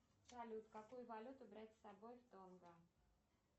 салют какую валюту брать с собой в тонго